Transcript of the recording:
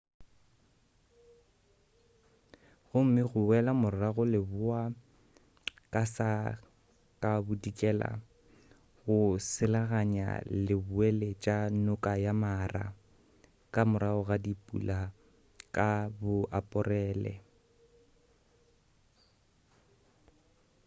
gomme go boela morago leboa ka sa ka bodikela go selaganya leboeletša noka ya mara ka morago ga dipula ka bo aporele